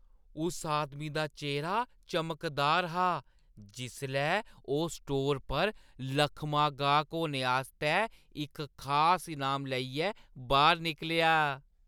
उस आदमी दा चेह्‌रा चमकदार हा जिसलै ओह् स्टोर पर लक्खमां गाह्क होने आस्तै इक खास इनाम लेइयै बाह्‌र निकलेआ।